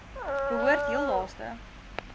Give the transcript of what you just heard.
behoort heel laaste